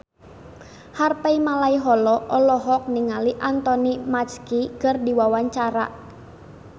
Harvey Malaiholo olohok ningali Anthony Mackie keur diwawancara